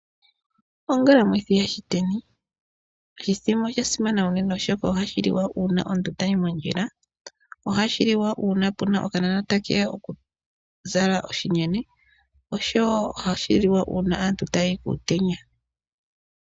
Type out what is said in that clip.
Ongalamwithi yashiteni, oshithima osha simana unene, oshoka ohashi liwa una omuntu tayi mondjila, ohashi liwa puna okanona ta keya oku zala oshinyene, oshowo ohashi liwa una aantu taya yi kuutenya.